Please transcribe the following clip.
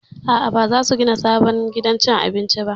A'a, ba za su gina sabon gidan cin abinci ba